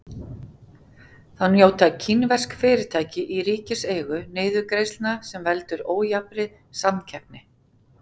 Þá njóta kínversk fyrirtæki í ríkiseigu niðurgreiðslna sem veldur ójafnri samkeppni.